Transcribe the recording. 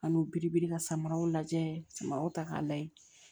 An n'u bi biribiri ka samaraw lajɛ samaraw ta k'a lajɛ